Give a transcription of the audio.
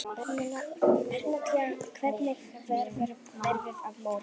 Bernódía, hvernig verður veðrið á morgun?